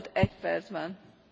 Pani Przewodnicząca!